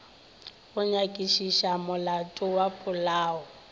go nyakišiša molato wa polao